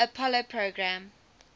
apollo program